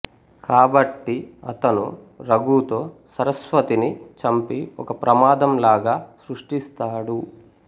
కాబట్టి అతను రఘుతో సరస్వతిని చంపి ఒక ప్రమాదం లాగా సృష్టిస్తాడు